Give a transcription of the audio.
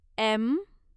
M